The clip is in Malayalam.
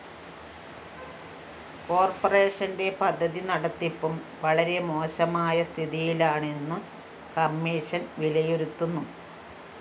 കോര്‍പറേഷന്റെ പദ്ധതി നടത്തിപ്പും വളരെ മോശമായ സ്ഥിതിയിലാണെന്നു കമ്മീഷൻ വിലയിരുത്തുന്നു